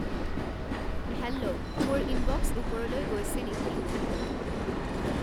hello মোৰ inbox ওপৰলৈ গৈছে নেকি